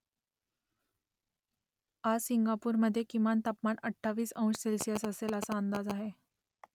आज सिंगापूरमध्ये किमान तापमान अठ्ठावीस अंश सेल्सिअस असेल असा अंदाज आहे